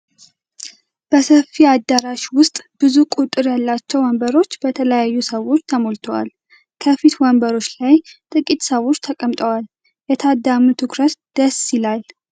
በሰፊ አዳራሽ ውስጥ ብዙ ቁጥር ያላቸው ወንበሮች በተለያዩ ሰዎች ተሞልተዋል። ከፊት ወንበሮች ላይ ጥቂት ሰዎች ተቀምጠዋል። የታዳሚው ትኩረት ደስ ይላል፡፡